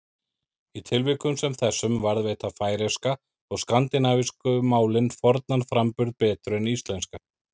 Í tilvikum sem þessum varðveita færeyska og skandinavísku málin fornan framburð betur en íslenska.